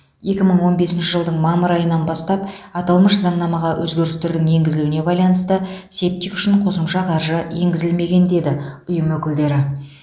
екі мың он бесінші жылдың мамыр айынан бастап аталмыш заңнамаға өзгерістердің енгізілуіне байланысты септик үшін қосымша қаржы енгізілмеген деді ұйым өкілдері